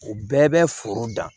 O bɛɛ bɛ foro dan